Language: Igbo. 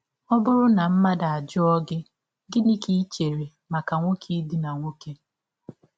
Ọ bụrụ na mmadụ ajụọ gị: Gịnị ka i chere banyere nwọke ịdina nwọke?